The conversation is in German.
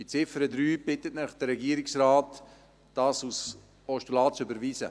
Bei der Ziffer 3 bittet Sie der Regierungsrat, dies als Postulat zu überwiesen.